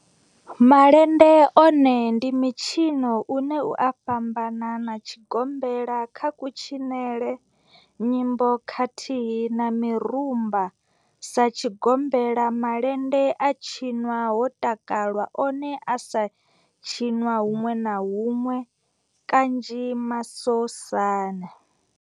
Malende one ndi mitshino une u a fhambana na tshigombela kha kutshinele, nyimbo khathihi na mirumba. Sa tshigombela, malende a tshinwa ho takalwa, one a sa tshiniwa hunwe na hunwe kanzhi masosani.